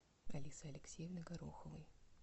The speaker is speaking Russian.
алисы алексеевны гороховой